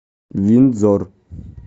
виндзор